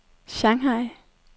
Shanghai